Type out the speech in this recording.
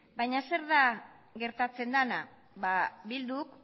baina zer da gertatzen dena bilduk